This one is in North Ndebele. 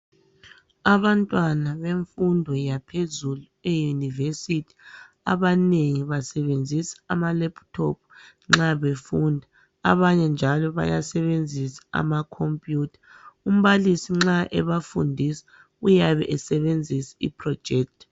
Abantwana bemfundo yaphezulu eyeYunivesi abanengi basebenzisa ama"laptop" nxa befunda, abanye njalo bayasebenzisa amakhompiyutha. Umbalisi nxa ebafundisa uyabe esebenzisa i"projector".